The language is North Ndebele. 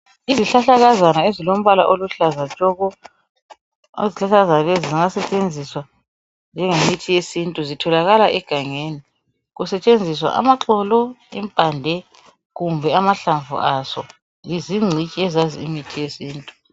Izihlahlakazana ezilombala oluhlaza. Izihlahlakazana lezi zingasetshenziswa njengemithi yesintu .Zitholakala egangeni. Kusetshenziswa amaxolo, impande kumbe amahlamvu azo. Lizingcitshi ezazi imithi yesintu.